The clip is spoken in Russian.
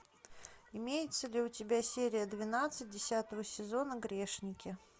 имеется ли у тебя серия двенадцать десятого сезона грешники